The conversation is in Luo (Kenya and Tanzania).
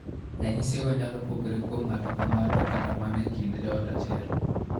Ranyisigo nyalo pogore kuom ng'ato ka ng'ato kata mana e kind joot achiel.